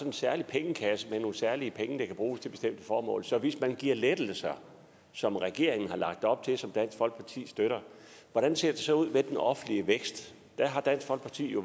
en særlig pengekasse med nogle særlige penge der kan bruges til bestemte formål så hvis man giver lettelser som regeringen har lagt op til og som dansk folkeparti støtter hvordan ser det så ud med den offentlige vækst der har dansk folkeparti jo